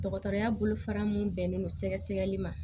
Dɔgɔtɔrɔya bolofara mun bɛnnen don sɛgɛ sɛgɛli ma